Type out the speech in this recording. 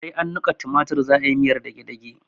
Sai an niƙa tumatir idan za'ayi miyar dagedage